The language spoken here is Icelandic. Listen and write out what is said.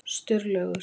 Sturlaugur